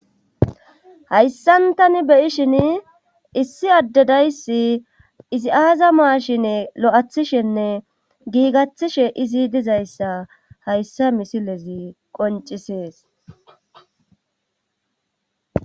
Hayssan tani beyishin issi addedayssi izi aaza maashine lo7athishenne giigathishe izi dizayssa hayssa misilezi qoncisees.